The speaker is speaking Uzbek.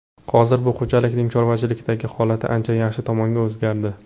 Hozir bu xo‘jalikning chorvachilikdagi holati ancha yaxshi tomonga o‘zgardi.